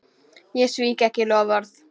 Ég svík ekki loforð.